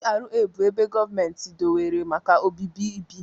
GRA bụ ebe gọọmentị dobere maka obibi bi.